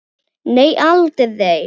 Nei, aldrei.